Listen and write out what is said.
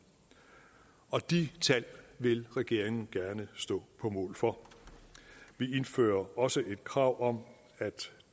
de tal vil regeringen gerne stå på mål for vi indfører også et krav om at